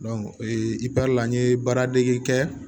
ee i pɛri la n ye baaradege kɛ